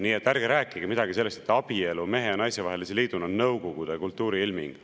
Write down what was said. Nii et ärge rääkige midagi sellest, et abielu mehe ja naise vahelise liiduna on Nõukogude kultuuri ilming.